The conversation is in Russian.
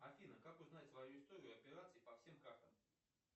афина как узнать свою историю операций по всем картам